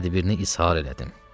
Tədbirini izhar elədim.